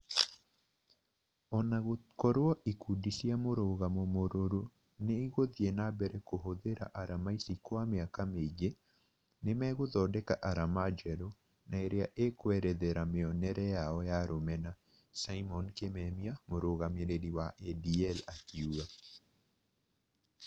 Ona gũkorwo ikundi cia mũrũgamo mũrũrũ nĩiguthie na mbere kũhũthira arama ici kwa mĩaka mĩingi, nĩmegũthodeka arama njerũ, na irĩa ikũerethera mĩonere yao ya rũmena" Simon Kimemia, mũrũgamĩrĩri wa ADL akiuga